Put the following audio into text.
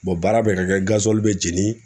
baara bɛ ka kɛ be jeni